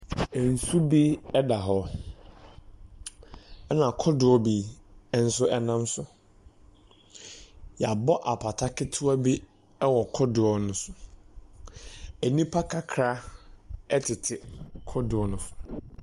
Nsu bi da hɔ. Na kodoɔ bi nso nam so. Yɛabɔ apata kotoa bi wɔ kodoɔ no so. Nnipa kakra tete kodoɔ no so.